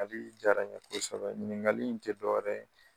kali diyara n ye kosɛbɛ ɲininkali in tɛ dɔwɛrɛ ye